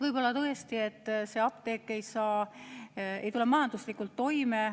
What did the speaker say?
Võib-olla tõesti ei tule apteek majanduslikult toime.